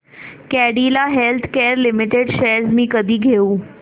Cadila healthcare limited shares मी कधी घेऊ